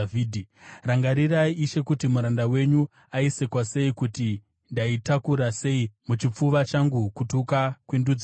Rangarirai, Ishe kuti muranda wenyu aisekwa sei, kuti ndaitakura sei muchipfuva changu kutuka kwendudzi dzose,